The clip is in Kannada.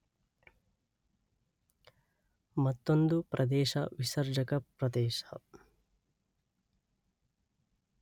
ಮತ್ತೊಂದು ಪ್ರದೇಶ ವಿಸರ್ಜಕ ಪ್ರದೇಶ.